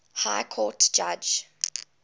high court judge